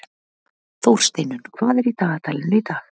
Þórsteinunn, hvað er í dagatalinu í dag?